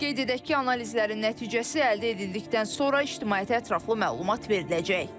Qeyd edək ki, analizlərin nəticəsi əldə edildikdən sonra ictimaiyyətə ətraflı məlumat veriləcək.